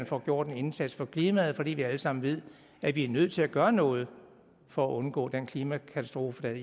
får gjort en indsats for klimaet fordi vi alle sammen ved at vi er nødt til at gøre noget for at undgå den klimakatastrofe